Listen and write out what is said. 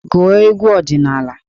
Gụọ egwu ọdịnaala!